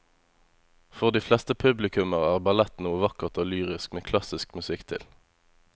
For de fleste publikummere er ballett noe vakkert og lyrisk med klassisk musikk til.